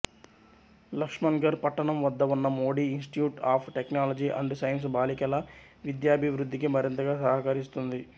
లక్ష్మణ్గర్ పట్టణం వద్ద ఉన్న Modi Institute of Technology and Science బాలికల విద్యాభివృద్ధికి మరింతగా సహకరిస్తుంది